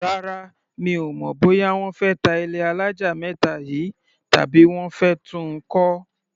Rárá, mi ò mọ̀ bóyá wọ́n fẹ́ ta ilé alájà méta yìí, tàbí wọ́n fẹ́ tun kọ́.